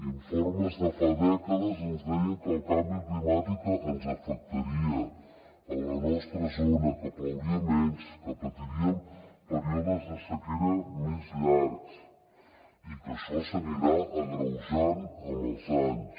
informes de fa dècades ens deien que el canvi climàtic ens afectaria a la nostra zona que plouria menys que patiríem períodes de sequera més llargs i que això s’anirà agreujant amb els anys